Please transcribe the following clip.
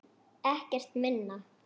Ekkert minna.